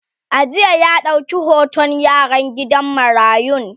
a jiya ya dauƙi hoton yaran gidan marayun